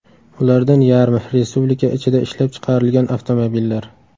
Ulardan yarmi – Respublika ichida ishlab chiqarilgan avtomobillar.